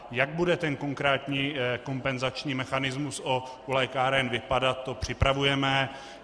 Jak bude ten konkrétní kompenzační mechanismus u lékáren vypadat, to připravujeme.